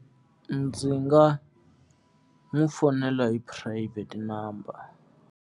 Ndzi nga n'wi fonela hi phurayivhete number.